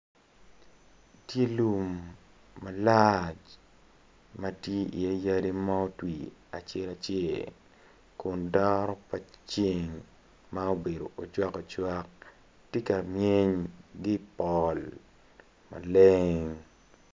Tye lum malac ma tye iye yadi ma otwi acel acel kun daro pa ceng ma obedo ocwakocak tye ka myen ki i poll maleng